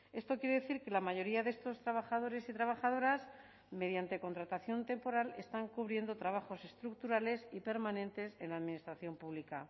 esto quiere decir que la mayoría de estos trabajadores y trabajadoras mediante contratación temporal están cubriendo trabajos estructurales y permanentes en la administración pública